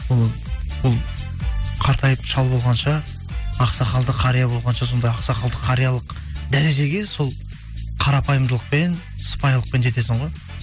ол қартайып шал болғанша ақсақалды қария болғанша сондай ақсақалды қариялық дәрежеге сол қарапайымдылықпен сыпайылықпен жетесің ғой